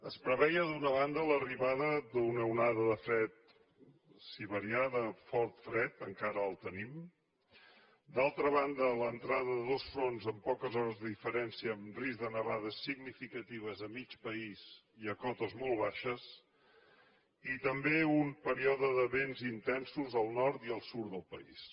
es preveia d’una banda l’arribada d’una onada de fred siberià de fort fred encara el tenim d’altra banda l’entrada de dos fronts en poques hores de diferència amb risc de nevades significatives a mig país i a cotes molt baixes i també un període de vents intensos al nord i al sud del país